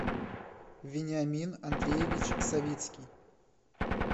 вениамин андреевич савицкий